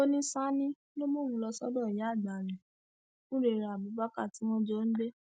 ó ní sani ló mú òun lọ sọdọ ìyáàgbà rẹ furera abubakar tí wọn jọ ń gbé